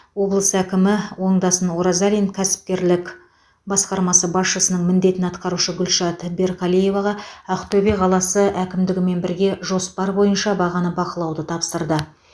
облыс әкімі оңдасын оразалин кәсіпкерлік басқармасы басшысының міндетін атқарушы гүлшат берқалиеваға ақтөбе қаласы әкімдігімен бірге жоспар бойынша бағаны бақылауды тапсырды